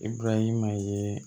I burayima yee